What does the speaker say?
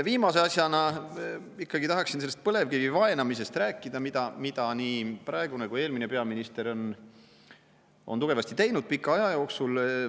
Viimase asjana tahaksin ikkagi rääkida sellest põlevkivi vaenamisest, mida nii praegune kui ka eelmine peaminister on tugevasti teinud pika aja jooksul.